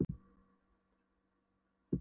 Tími og aldur líði áfram í sama gangverki.